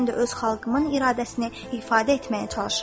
Mən də öz xalqımın iradəsini ifadə etməyə çalışıram.